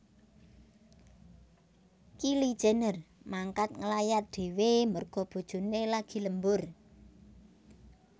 Kylie Jenner mangkat ngelayat dewe merga bojone lagi lembur